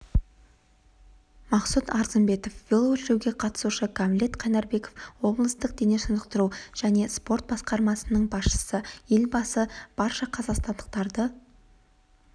мақсұт арзымбетов велошеруге қатысушы гамлет қайнарбеков облыстық дене шынықтыру және спорт басқармасының басшысы елбасы барша қазақстандықтарды